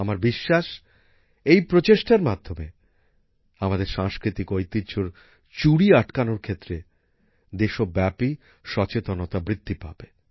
আমার বিশ্বাস এই প্রচেষ্টার মাধ্যমে আমাদের সাংস্কৃতিক ঐতিহ্যর চুরি আটকানোর ক্ষেত্রে দেশব্যাপী সচেতনতা বৃদ্ধি পাবে